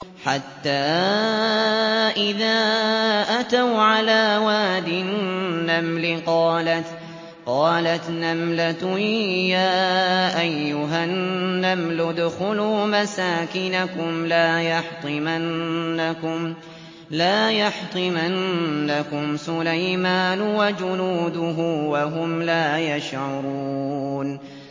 حَتَّىٰ إِذَا أَتَوْا عَلَىٰ وَادِ النَّمْلِ قَالَتْ نَمْلَةٌ يَا أَيُّهَا النَّمْلُ ادْخُلُوا مَسَاكِنَكُمْ لَا يَحْطِمَنَّكُمْ سُلَيْمَانُ وَجُنُودُهُ وَهُمْ لَا يَشْعُرُونَ